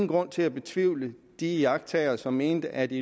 grund til at betvivle de iagttagere som mener at de